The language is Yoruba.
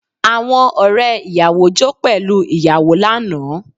Àwọn ọ̀rẹ́ ìyàwó jó pẹ̀lú ìyàwó lánàá